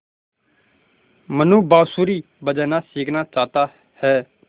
मनु बाँसुरी बजाना सीखना चाहता है